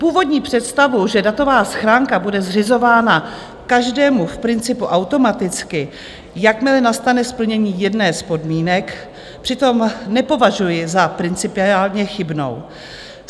Původní představu, že datová schránka bude zřizována každému v principu automaticky, jakmile nastane splnění jedné z podmínek, přitom nepovažuji za principiálně chybnou.